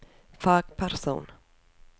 fagperson